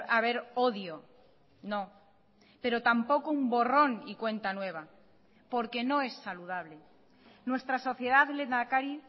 haber odio no pero tampoco un borrón y cuenta nueva porque no es saludable nuestra sociedad lehendakari